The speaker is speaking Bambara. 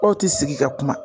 Aw ti sigi ka kuma